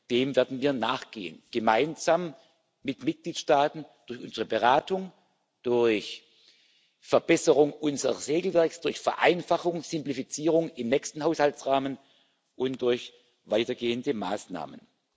Dem werden wir nachgehen gemeinsam mit Mitgliedstaaten durch unsere Beratung, durch Verbesserung unseres Regelwerks, durch Vereinfachung, Simplifizierung im nächsten Haushaltsrahmen und durch weitergehende Maßnahmen.